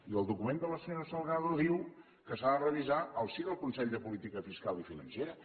i el document de la senyora salgado diu que s’ha de revisar al si del consell de política fiscal i financera